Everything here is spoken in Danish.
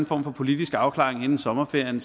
form for politisk afklaring inden sommerferien